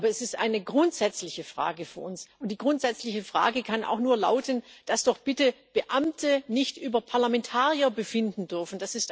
Aber es ist eine grundsätzliche Frage für uns, und die grundsätzliche Frage kann auch nur lauten, dass doch bitte Beamte nicht über Parlamentarier befinden dürfen.